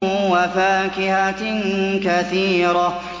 وَفَاكِهَةٍ كَثِيرَةٍ